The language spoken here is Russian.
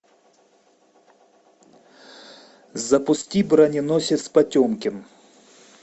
запусти броненосец потемкин